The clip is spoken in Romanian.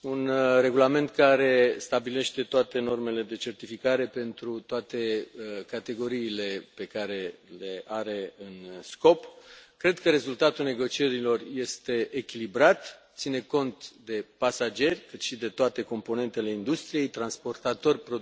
un regulament care stabilește toate normele de certificare pentru toate categoriile pe care le are în domeniul de aplicare. Cred că rezultatul negocierilor este echilibrat, ține cont atât de pasageri, cât și de toate componentele industriei transportatori, producători,